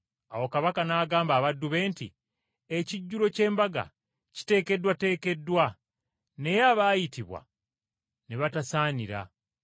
“Awo kabaka n’agamba abaddu be nti, ‘Ekijjulo ky’embaga kiteekeddwateekeddwa, naye abaayitibwa ne batasaanira.